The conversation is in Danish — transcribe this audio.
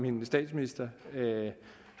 institutioner